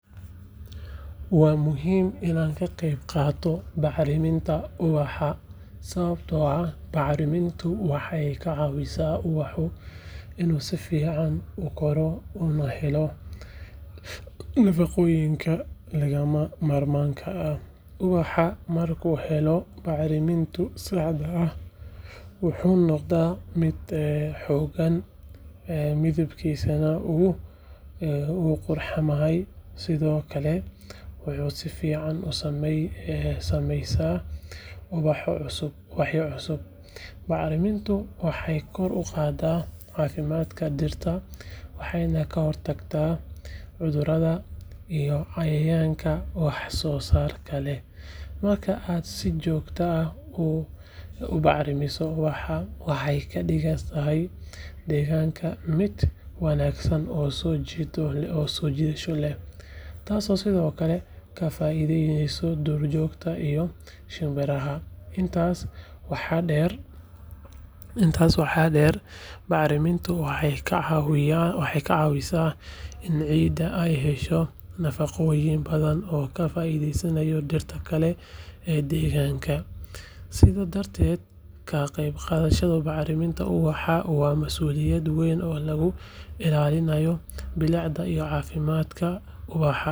Waa muhiim inaad ka qaybqaadato bacriminta ubaxa sababtoo ah bacrimintu waxay ka caawisaa ubaxa inuu si fiican u koro una helo nafaqooyinka lagama maarmaanka ah. Ubaxu marka uu helo bacriminta saxda ah, wuxuu noqdaa mid xooggan, midabkiisana wuu qurxamaa, sidoo kalena wuxuu si fiican u samaysmaa ubaxyo cusub. Bacriminta waxay kor u qaadaa caafimaadka dhirta, waxayna ka hortagtaa cudurada iyo cayayaanka waxyeelada leh. Marka aad si joogto ah u bacrimiso ubaxa, waxaad ka dhigaysaa deegaanka mid wanaagsan oo soo jiidasho leh, taasoo sidoo kale ka faa’iideysta duurjoogta iyo shimbiraha. Intaas waxaa dheer, bacriminta waxay ka caawisaa in ciidda ay hesho nafaqooyin badan oo ka faa’iideysta dhirta kale ee deegaanka. Sidaas darteed, ka qaybqaadashada bacriminta ubaxa waa masuuliyad weyn oo lagu ilaalinayo bilicda iyo caafimaadka ubaxa.